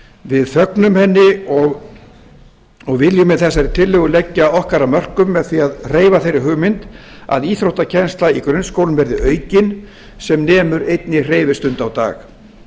við fögnum henni og viljum með þessari tillögu leggja okkar af mörkum með því að hreyfa þeirri hugmynd að íþróttakennsla í grunnskólum verði aukin sem nemur einni hreyfistund á dag